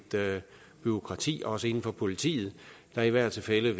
bureaukrati også inden for politiet der i hvert fald